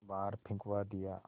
बाहर फिंकवा दिया